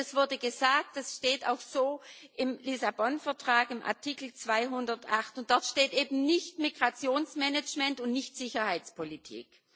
Es wurde gesagt Das steht auch so im Lissabon Vertrag, in Artikel 208. Dort steht eben nicht Migrationsmanagement und nicht Sicherheitspolitik.